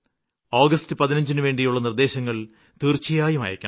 August 15നുവേണ്ടിയുള്ള നിര്ദ്ദേശങ്ങള് തീര്ച്ചയായും അയയ്ക്കണം